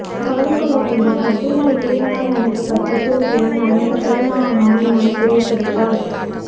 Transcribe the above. கவலை கொள்ளவேண்டாம் அப்துல்லா இறைவானால் அனுப்பப்பட்ட தூதுவன் அண்ணல் கருணா அம்மான் நம் துயர் துடைப்பார்